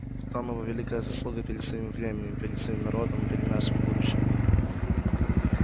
в том его великая заслуга перед своим временем перед своим народом и перед нашим будущим